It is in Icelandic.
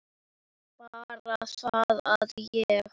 Bara það að ég.